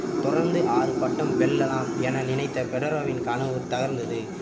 தொடர்ந்து ஆறு பட்டம் வெல்லலாம் என நினைத்த பெடரரின் கனவு தகர்ந்தது